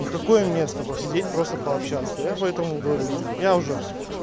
ни в какое место посидеть просто пообщаться я поэтому говорю ну я уже